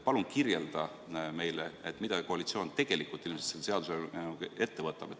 Palun kirjelda meile, mida koalitsioon ilmselt tegelikult selle seadusega ette võtab.